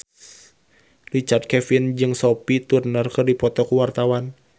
Richard Kevin jeung Sophie Turner keur dipoto ku wartawan